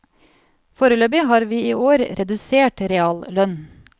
Foreløpig har vi i år redusert reallønn.